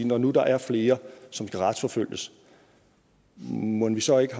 når nu der er flere som skal retsforfølges mon vi så ikke